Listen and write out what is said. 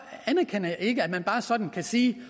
anerkender jeg ikke at man bare sådan kan sige